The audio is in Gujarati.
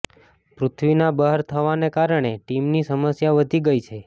પૃથ્વીના બહાર થવાના કારણે ટીમની સમસ્યા વધી ગઈ છે